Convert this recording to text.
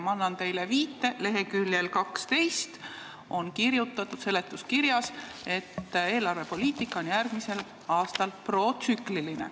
Ma annan teile viite: lk 12 on seletuskirjas kirjutatud, et eelarvepoliitika on järgmisel aastal protsükliline.